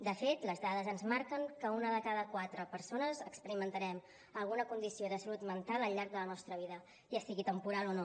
de fet les dades ens marquen que una de cada quatre persones experimentarem alguna condició de salut mental al llarg de la nostra vida ja sigui temporal o no